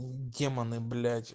м демоны блять